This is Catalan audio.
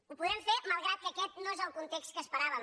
ho podrem fer malgrat que aquest no és el context que esperàvem